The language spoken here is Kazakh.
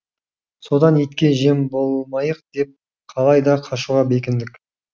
содан итке жем болмайық деп қалайда қашуға бекіндік